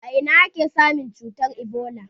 A ina ake samun cutar ebola?